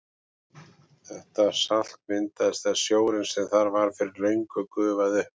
Þetta salt myndaðist þegar sjórinn sem þar var fyrir löngu gufaði upp.